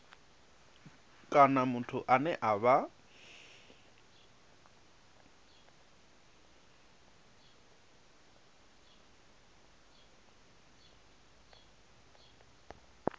kana muthu ane a vha